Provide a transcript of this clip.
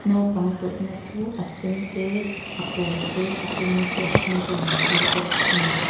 naupang tawlhna chu a sen te a pâwl te a eng te a hring tein an chei bawk a ni.